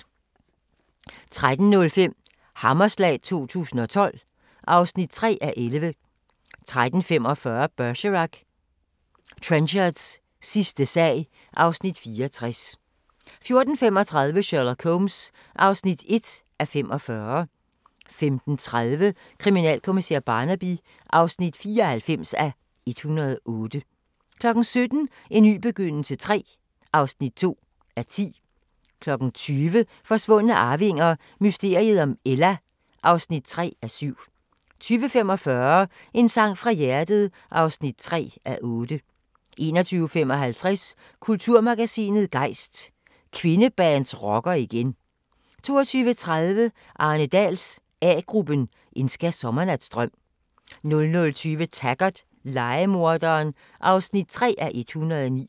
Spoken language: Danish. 13:05: Hammerslag 2012 (3:11) 13:45: Bergerac: Trenchards sidste sag (Afs. 64) 14:35: Sherlock Holmes (1:45) 15:30: Kriminalkommissær Barnaby (94:108) 17:00: En ny begyndelse III (2:10) 20:00: Forsvundne arvinger: Mysteriet om Ella (3:7) 20:45: En sang fra hjertet (3:8) 21:55: Kulturmagasinet Gejst: Kvindebands rocker igen 22:30: Arne Dahls A-gruppen: En skærsommernatsdrøm 00:20: Taggart: Lejemorderen (3:109)